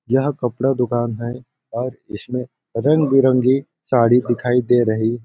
यह कपड़ा दुकान है और इसमें रंगबिरंगी साड़ी दिखाई दे रही --